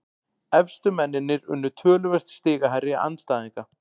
Efstu mennirnir unnu töluvert stigahærri andstæðinga